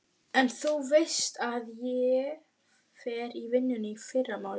En þú veist að ég fer í vinnu í fyrramálið.